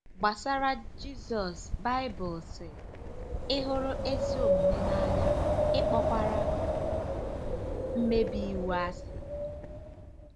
Gbasara Jizọs Baịbụlụ sị: “ Ị hụrụ ezi omume n'anya, ị kpọkwara mmebi iwu asị.